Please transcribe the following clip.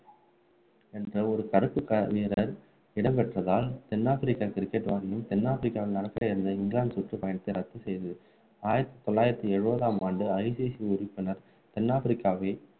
என்ற ஒரு கருத்து பரவியதால் இடம்பெற்றதால் தென் ஆப்பிரிக்க cricket வாரியம் தென் ஆப்பிரிக்காவிலிருந்து அனுப்ப இருந்த இங்கிலாந்து சுற்றுப் பயணத்தை ரத்து செய்தது ஆயிரத்து தொள்ளாயிரத்து எழுபதாம் ஆண்டு ICC உறுப்பினர் தென் ஆப்பிரிக்காவை